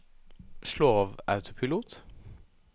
slå av autopilot